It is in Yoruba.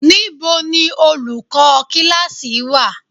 Níbo ni olùkọ́ kíláákì wà?